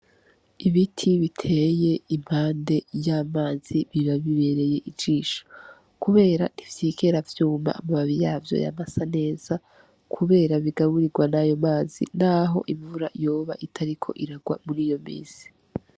Ibiti biteye impande y'amazi biba bibereye ijisho, kubera ntivyigera vyuma amababi yavyo yama asa neza, kubera bigaburirwa nayo mazi naho imvura yoba itariko irarwa muriyo minsi.